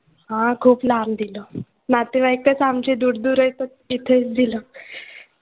हां खूप लांब दिलं. नातेवाईकचं आमचे दूर दूर आहेत तर तिथेच दिलं.